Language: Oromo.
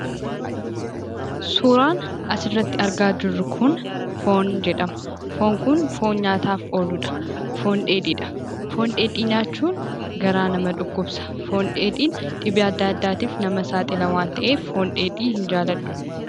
Suuraan asirratti argaa jirru kun foon jedhama. Foon kunis foon dheedhii nyaataaf ooludha. Foon dheedhii nyaachuun garaa nama dhukkubsa. Foon dheedhiin dhibee adda addaatiif nama saaxila waan ta'eef, foon dheedhii hin jaalladhu